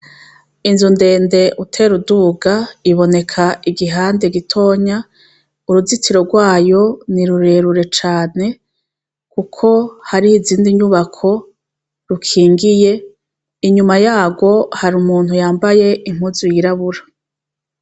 Inzu ndende utera uduga, iboneka igihande gitonya ,uruzitiro rwayo ni rurerure cane, kuko hari izindi nyubako rukingiye, inyuma yarwo hari umuntu yambaye impuzu y'irabura.